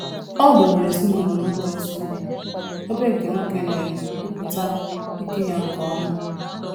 Ọ duru ezinụlọ n’oge nsogbu, ebe nke nwoke na-ekwupụta ike ya nke ọma.